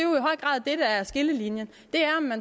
der er skillelinjen